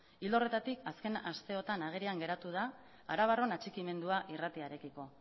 ildo horretatik azken aste honetan agerian geratu da arabarron atxikimendua irratiarekiko